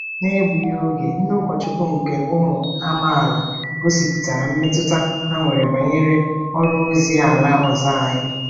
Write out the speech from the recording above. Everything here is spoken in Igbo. N'egbughị oge, ndị ụkọchukwu nke ụmụ amaala gosipụtara mmetụta ha nwere banyere ọrụ ozi ala ọzọ anyị.